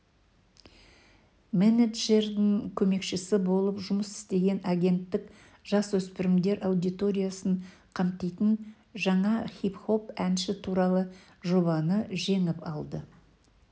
менеджердің көмекшісі болып жұмыс істеген агенттік жасөспірімдер аудиториясын қамтитын жаңа хип-хоп әнші туралы жобаны жеңіп алды